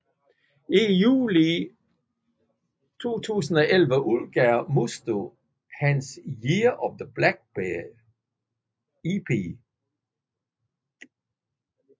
I juli 2011 udgav Musto hans Year of the Blackbear EP